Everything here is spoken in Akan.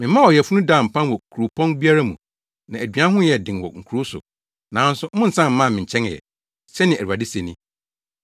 “Memaa ɔyafunu daa mpan wɔ kuropɔn biara mu na aduan ho yɛɛ den wɔ nkurow so, nanso monnsan mmaa me nkyɛn ɛ,” sɛnea Awurade se ni.